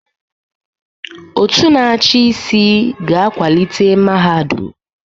Òtù na-achị isi ga-akwalite mahadum.